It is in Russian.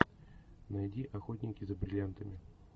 найди охотники за бриллиантами